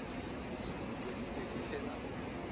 diputswa di be di fela